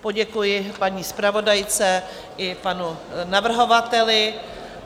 Poděkuji paní zpravodajce i panu navrhovateli.